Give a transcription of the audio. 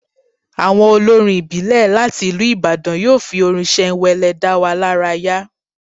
Àwọn olórin ìbílẹ̀ láti ìlú Ìbàdàn yóò fi orin ṣẹnwẹlẹ dá wa lára yá